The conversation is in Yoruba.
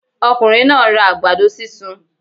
Okùnrin náà nra àgbàdo sísun